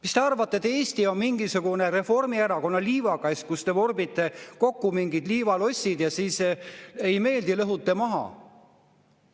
Kas te arvate, et Eesti on mingisugune Reformierakonna liivakast, kus te vorbite kokku mingid liivalossid ja kui ei meeldi, siis lõhute maha?